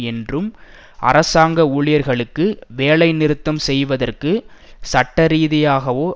என்றும் அரசாங்க ஊழியர்களுக்கு வேலைநிறுத்தம் செய்வதற்கு சட்டரீதியாகவோ